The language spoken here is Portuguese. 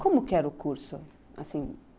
Como que era o curso? assim,